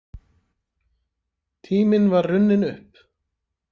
Tíminn var runninn upp.